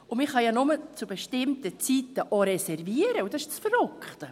Man kann ja auch nur zu bestimmten Zeiten reservieren, und das ist das Verrückte.